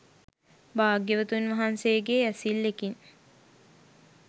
භාග්‍යවතුන් වහන්සේගේ ඇසිල්ලෙකින්